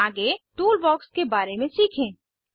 आगे टूलबॉक्स के बारे में सीखें